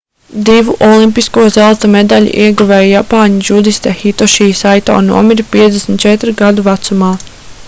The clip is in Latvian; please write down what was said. divu olimpisko zelta medaļu ieguvēja japāņu džudiste hitoši saito nomira 54 gadu vecumā